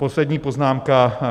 Poslední poznámka.